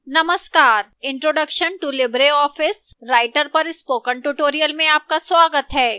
नमस्कार introduction to libreoffice writer पर spoken tutorial में आपका स्वागत है